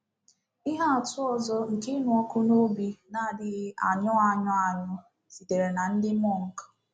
Ihe atụ ọzọ nke ịnụ ọkụ n’obi na-adịghị anyụ anyụ anyụ sitere na ndị Mọnk.